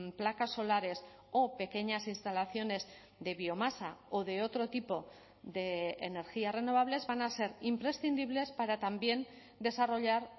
placas solares o pequeñas instalaciones de biomasa o de otro tipo de energías renovables van a ser imprescindibles para también desarrollar